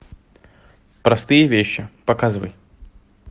простые вещи показывай